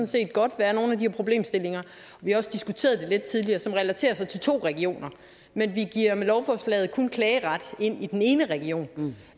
set godt være nogle af de her problemstillinger vi har også diskuteret det tidligere som relaterer sig til to regioner men vi giver med lovforslaget kun klageret ind i den ene region